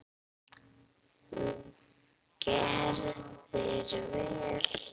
Þú gerðir vel!